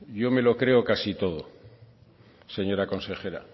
yo me lo creo casi todo señora consejera